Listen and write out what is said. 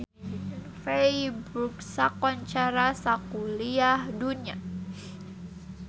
Feiburg kakoncara sakuliah dunya